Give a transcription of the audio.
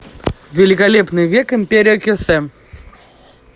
великолепный век империя кесем